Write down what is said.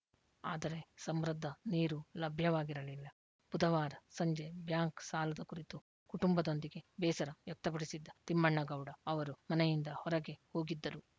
ಆದರೆ ಸಮೃದ್ಧ ನೀರು ಲಭ್ಯವಾಗಿರಲಿಲ್ಲ ಬುಧವಾರ ಸಂಜೆ ಬ್ಯಾಂಕ್‌ ಸಾಲದ ಕುರಿತು ಕುಟುಂಬದೊಂದಿಗೆ ಬೇಸರ ವ್ಯಕ್ತಪಡಿಸಿದ್ದ ತಿಮ್ಮಣ್ಣಗೌಡ ಅವರು ಮನೆಯಿಂದ ಹೊರಗೆ ಹೋಗಿದ್ದರು